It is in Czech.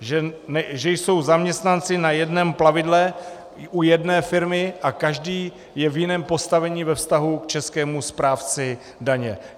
Že jsou zaměstnanci na jednom plavidle u jedné firmy a každý je v jiném postavení ve vztahu k českému správci daně.